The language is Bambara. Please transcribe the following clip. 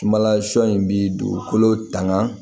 Sumala sɔ in bi dugukolo tanga